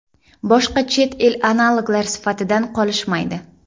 Boshqa chet el analoglar sifatidan qolishmaydi.